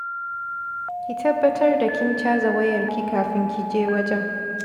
Ki tabbatar da kin caza wayarki kafin ki je wajen